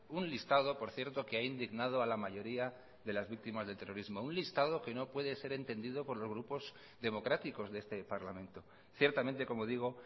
un listado por cierto que ha indignado a la mayoría de las víctimas del terrorismo un listado que no puede ser entendido por los grupos democráticos de este parlamento ciertamente como digo